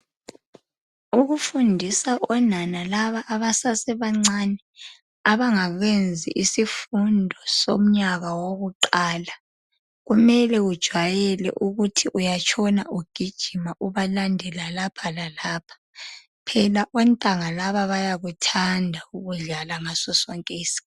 Ukufundisa onana laba abasasebancane abangakenzi isifundo somnyaka wokuqala kumele ujwayele ukuthi uyatshona ugijima ubalandela lapha lalapha, phela ontanga laba bayakuthanda ukudlala ngaso sonke isikhathi.